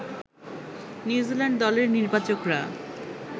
New Zealand দলের নির্বাচকরা